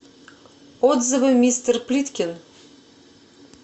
отзывы мистер плиткин